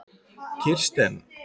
Kirsten